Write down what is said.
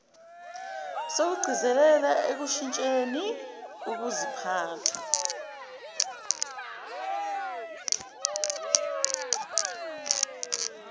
sokugcizelela ekushintsheni ukuziphatha